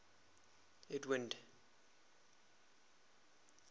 edwind